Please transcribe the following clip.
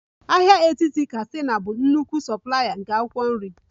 Ahịa etiti katsina bụ nnukwu soplaya nke akwụkwọ nri